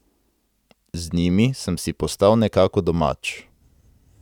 Z njimi sem si postal nekako domač.